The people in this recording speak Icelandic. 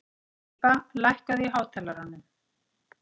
Líba, lækkaðu í hátalaranum.